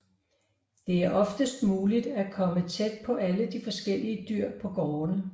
Det er oftest muligt at komme tæt på alle de forskellige dyr på gårdene